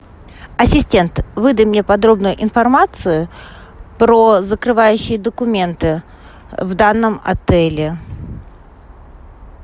ассистент выдай мне подробную информацию про закрывающие документы в данном отеле